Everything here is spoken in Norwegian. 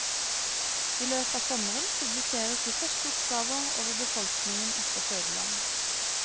I løpet av sommeren publiseres de første oppgaver over befolkningen etter fødeland.